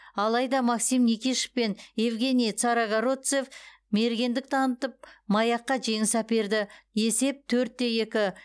алайда максим никишов пен евгений царогородцев мергендік танытып маякка жеңіс әперді есеп төрт те екі